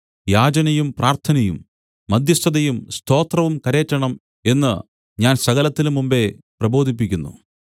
യാചനയും പ്രാർത്ഥനയും മദ്ധ്യസ്ഥതയും സ്തോത്രവും കരേറ്റണം എന്നു ഞാൻ സകലത്തിനും മുമ്പെ പ്രബോധിപ്പിക്കുന്നു